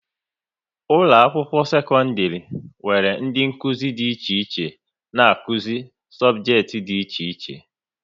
Ụlọ akwụkwọ sekọndrị nwere ndị Nkụzi dị iche iche n'akuzi sobjekiti dị iche iche